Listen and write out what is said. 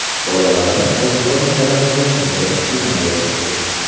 Bolalarim ozuqa masalasida juda qiynalyapti.